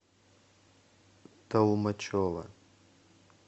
толмачево